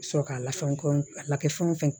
Sɔrɔ ka lafɛnw kɔnɔn a lakɛfɛn o fɛn